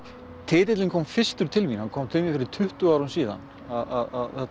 titillinn kom fyrstur til mín hann kom til mín fyrir tuttugu árum síðan að